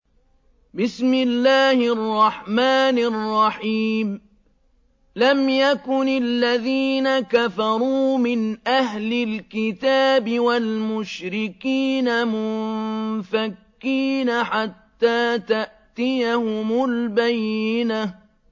لَمْ يَكُنِ الَّذِينَ كَفَرُوا مِنْ أَهْلِ الْكِتَابِ وَالْمُشْرِكِينَ مُنفَكِّينَ حَتَّىٰ تَأْتِيَهُمُ الْبَيِّنَةُ